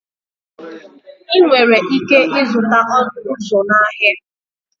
Ị nwere ike ịzụta ọnụ ụzọ na ahịa.